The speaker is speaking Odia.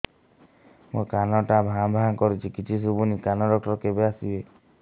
ମୋ କାନ ଟା ଭାଁ ଭାଁ କରୁଛି କିଛି ଶୁଭୁନି କାନ ଡକ୍ଟର କେବେ ଆସିବେ